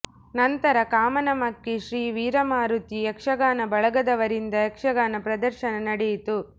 ನಂತರ ಕಾಮನಮಕ್ಕಿ ಶ್ರೀ ವೀರಮಾರುತಿ ಯಕ್ಷಗಾನ ಬಳಗದವರಿಂದ ಯಕ್ಷಗಾನ ಪ್ರದರ್ಶನ ನಡೆಯಿತು